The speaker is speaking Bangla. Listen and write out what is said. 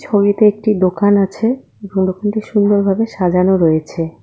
ছবিতে একটি দোকান আছে এবং দোকানটি সুন্দরভাবে সাজানো রয়েছে।